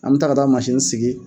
An bɛ taa ka taa mansini sigi